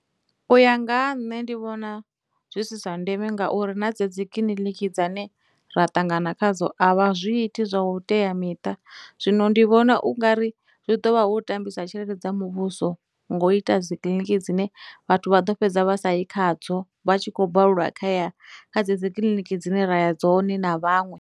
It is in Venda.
Uya nga ha nṋe ndi vhona zwi si zwa ndeme ngauri na dze dzi kiḽiniki dzane ra ṱangana khadzo a vha zwiiti zwa u teamiṱa, zwino ndi vhona ungari zwi ḓo vha hu u tambisa tshelede dza muvhuso ngo ita dzikiḽiniki dzine vhathu vha ḓo fhedza vha sa yi kha dzo vha tshi khou balelwa kha ya, kha dze dzi kiḽiniki dzine ra ya dzone na vhaṅwe.